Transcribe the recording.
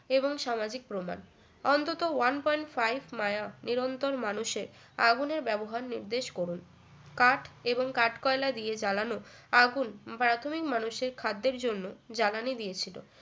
এবং সামাজিক প্রমান অন্তত one point five মায়া নিরন্তর মানুষের আগুনের ব্যবহার নির্দেশ করুন কাঠ এবং কাঠ কয়লা দিয়ে জ্বালানো আগুন প্রাথমিক মানুষের খাদ্যের জন্য জ্বালানি দিয়েছিল